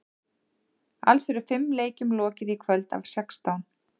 Alls eru fimm leikjum lokið í kvöld af sextán.